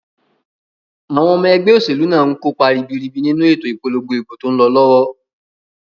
Àwon omo egbé òsèlú náà nkópa ribiribi nínu ètò ìpolongo ìbò tón lo lówó